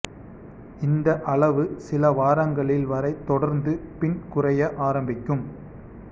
இந்த அளவு சில வாரங்களில் வரை தொடர்ந்து பின் குறைய ஆரம்பிக்கும்